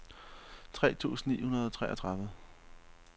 tre tusind ni hundrede og treogtredive